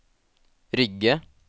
Rygge